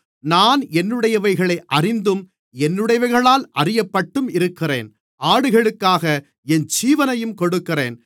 நான் என்னுடையவைகளை அறிந்தும் என்னுடையவைகளால் அறியப்பட்டும் இருக்கிறேன் ஆடுகளுக்காக என் ஜீவனையும் கொடுக்கிறேன்